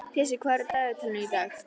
Pési, hvað er á dagatalinu í dag?